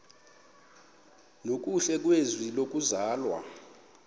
nokuhle kwizwe lokuzalwa